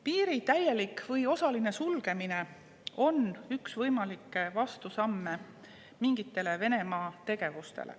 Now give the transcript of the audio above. Piiri täielik või osaline sulgemine on üks võimalikke vastusamme mingitele Venemaa tegevustele.